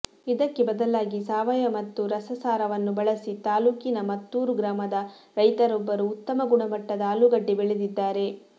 ಇದಕ್ಕೆ ಬದಲಾಗಿ ಸಾವಯವ ಮತ್ತು ರಸಸಾರವನ್ನು ಬಳಸಿ ತಾಲ್ಲೂಕಿನ ಮತ್ತೂರು ಗ್ರಾಮದ ರೈತರೊಬ್ಬರು ಉತ್ತಮ ಗುಣಮಟ್ಟದ ಆಲೂಗಡ್ಡೆ ಬೆಳೆದಿದ್ದಾರೆ